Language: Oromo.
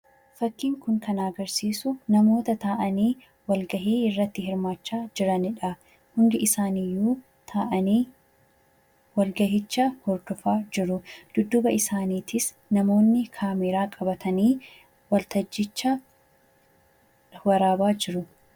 Fakkiin kun kan agarsiisu namoota taa'anii walgahii iraatti hirmaachaa jiranidha. Hundi isaaniiyyuu taa'anii walgahicha hordofaa jiru. Dudduuba isaaniitis namoonni kaameeraa qabatanii waltajjicha waraabaa jiru.